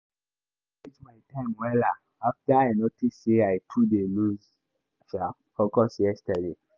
today i check my work well well ‘cause i learn from the mistake wey i make before.